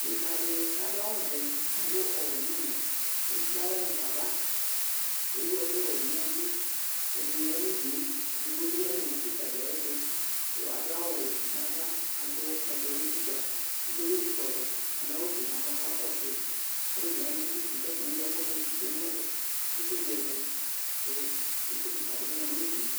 Dekǝ dɩ kʋ adʋ awʋvɛ kʋ adʋ ɔwɛ nʋ ʋmɛ kʋ ekple aɣla mu fa ava Ewu ɛkʋwɛ dɩ nʋ unuku kʋ ɛdɩnɩ ya nʋ udu yɛ Edigbo bɩ ya nʋ owu kɩka dɩ ayɛtʋ kʋ adʋ awʋwɛ nʋ ava, adʋ ɛblɔ nʋ utikpa Edigbo bɩ ezi kɔlɔ, adʋ awʋfue nʋ ava kʋ ɔkakɔsʋ yɩ Alʋ one wanɩ bɩ dʋ udu kʋ atanɩ eŋlo ɛkʋ dɩ tsue nʋ itsu dɩ ɛtʋ kʋ itsu kɩka dɩ bɩ ma nʋ udu yɛ